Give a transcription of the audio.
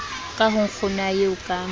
ka ho nkgonae eo ka